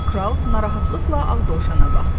Kral narahatlıqla Ağ Dovşana baxdı.